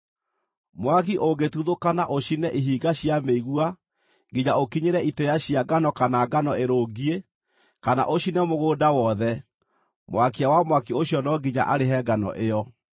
“Mwaki ũngĩtuthũka na ũcine ihinga cia mĩigua nginya ũkinyĩre itĩĩa cia ngano kana ngano ĩrũngiĩ, kana ũcine mũgũnda wothe, mwakia wa mwaki ũcio no nginya arĩhe ngano ĩyo.